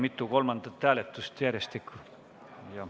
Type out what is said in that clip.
Meil on mitu lõpphääletust järjestikku.